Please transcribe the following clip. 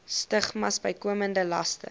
stigmas bykomende laste